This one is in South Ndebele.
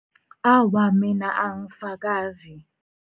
Awa, mina angifakazi.